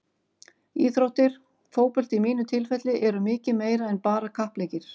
Íþróttir, fótbolti í mínu tilfelli, eru mikið meira en bara kappleikir.